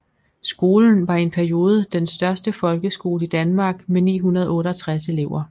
Skolen var i en periode den største folkeskole i Danmark med 968 elever